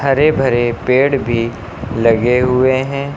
हरे भरे पेड़ भी लगे हुए हैं।